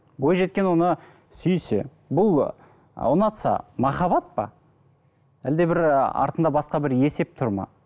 бойжеткен оны сүйсе бұл ы ұнатса махаббат па әлде бір ы артында басқа бір есеп тұр ма